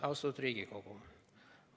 Austatud Riigikogu!